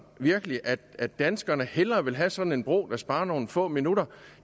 virkelig at at danskerne hellere vil have sådan en bro der sparer nogle få minutter